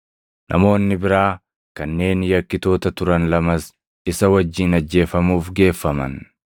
Namoonni biraa kanneen yakkitoota turan lamas isa wajjin ajjeefamuuf geeffaman.